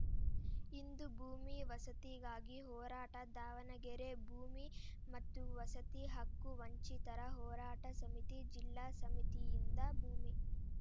ಇಂದು ಭೂಮಿ ವಸತಿಗಾಗಿ ಹೋರಾಟ ದಾವಣಗೆರೆ ಭೂಮಿ ಮತ್ತು ವಸತಿ ಹಕ್ಕು ವಂಚಿತರ ಹೋರಾಟ ಸಮಿತಿ ಜಿಲ್ಲಾ ಸಮಿತಿಯಿಂದ ಭೂಮಿ